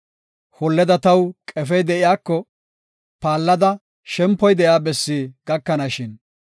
Holleda taw qefey de7iyako, paallada shempoy de7iya bessi gakanashin.